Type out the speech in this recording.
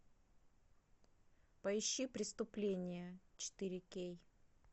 поищи преступление четыре кей